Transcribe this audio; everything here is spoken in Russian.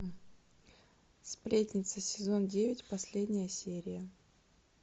сплетница сезон девять последняя серия